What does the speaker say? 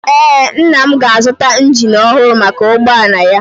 Ee, nna m ga-azụta injin ọhụrụ maka ụgbọala ya.